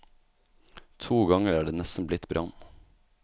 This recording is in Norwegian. To ganger er det nesten blitt brann.